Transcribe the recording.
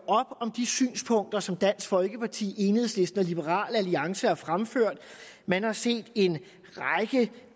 op om de synspunkter som dansk folkeparti enhedslisten og liberal alliance har fremført man har set en række